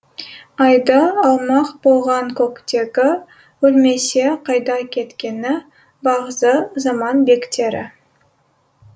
айды алмақ болған көктегі өлмесе қайда кеткені бағзы заман бектері